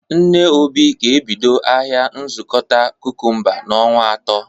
Nne Obi ga-ebido ahịa nzụkọta kukumba n"onwa atọ